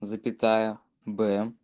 запятая б